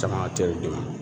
Camancɛw de ma